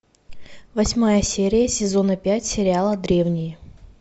восьмая серия сезона пять сериала древние